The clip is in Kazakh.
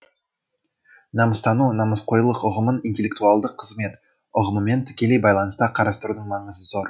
намыстану намысқойлық ұғымын интеллектуалдық қызмет ұғымымен тікелей байланыста қарастырудың маңызы зор